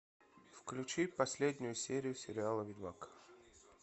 включи последнюю серию сериала ведьмак